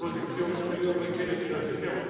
Esta proyección exterior requiere financiación.